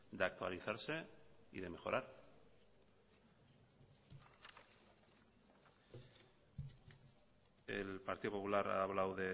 de actualizarse y de mejorar el partido popular ha hablado